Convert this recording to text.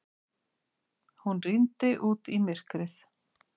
Hún rýndi út í myrkrið.